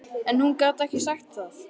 En hún gat ekki sagt það.